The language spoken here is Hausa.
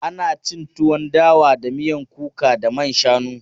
Ana cin tuwon dawa da miyan kuka da man shanu.